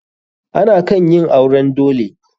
Ana kan yin auren dole.